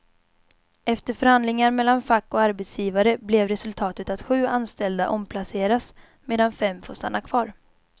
Efter förhandlingar mellan fack och arbetsgivare blev resultatet att sju anställda omplaceras, medan fem får stanna kvar.